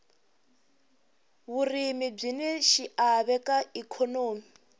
vurimi byini xiave ka ikhonomi